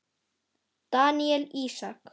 Daníel Ísak.